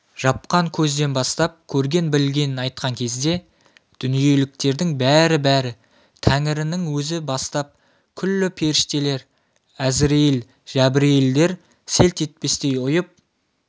жапқан көзден бастап көрген-білгенін айтқан кезде дүниеліктердің бәрі-бәрі тәңірінің өзі бастап күллі періштелер әзірейіл жәбірейілдер селт етпестен ұйып